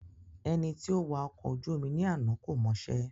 Ẹni tí ó wà ọkọ̀ ojú omi ní àná kò mọṣẹ́